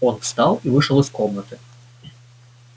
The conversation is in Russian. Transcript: он встал и вышел из комнаты